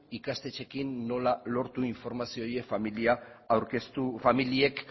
ikastetxeekin nola lortu informazio hori familiek